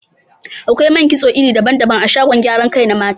Akwai man kitso iri daban-daban a shagon gyaran kai na mata.